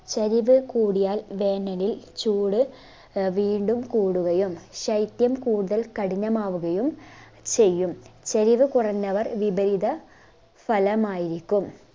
ചരിവ് കൂടിയാൽ വേനലിൽ ചൂട് ആഹ് വീണ്ടും കൂടുകയും ശൈത്യം കൂടുതൽ കഠിനമാവുകയും ചെയ്യും ചരിവ് കുറഞ്ഞവർ വിപരീത ഫലമായിരിക്കും